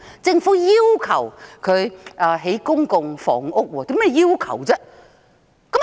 政府要求港鐵公司興建公共房屋。